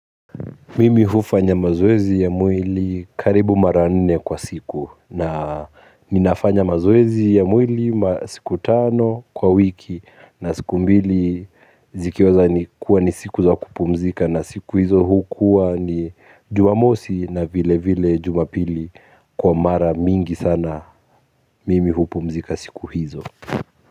Mimi hufanya mazoezi ya mwili karibu mara nne kwa siku na ninafanya mazoezi ya mwili masiku tano kwa wiki na siku mbili zikiweza ni kuwa ni siku za kupumzika na siku hizo hukuwa ni Jumamosi na vile vile Jumapili kwa mara mingi sana mimi hupumzika siku hizo.